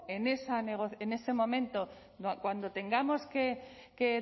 en ese momento cuando tengamos que